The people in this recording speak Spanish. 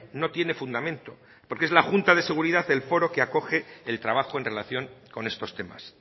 no tiene fundamento porque es la junta de seguridad el foro que acoge el trabajo en relación con estos temas